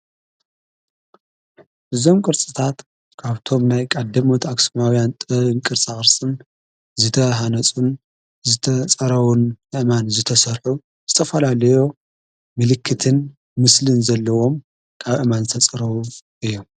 ዞም ቅርጽታት ካብቶም ናይ ቃደም ሞት ኣክስማውያን ጥ እንክርጻቕርጽን ዝተሓነጹን ዝተጸረዉን እማን ዝተሠርሑ ዝተፋላለዮ ምልክትን ምስልን ዘለዎም ቃብ ዕማን ዝተጸረዉ እዮም።